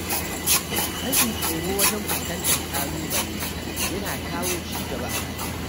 Rashin tsoro wajen fuskantar ƙalubale yana kawo ci gaba a rayuwa.